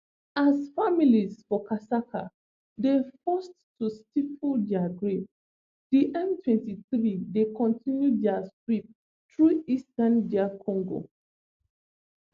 as families for kasika dey forced to stifle dia grief di mtwenty-three dey continue dia sweep thru eastern dr congo